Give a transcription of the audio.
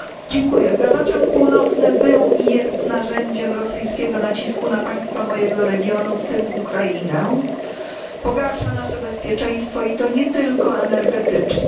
Panie Przewodniczący! Gazociąg Północny był i jest narzędziem rosyjskiego nacisku na państwa mojego regionu, w tym Ukrainę. Pogarsza nasze bezpieczeństwo i to nie tylko energetyczne.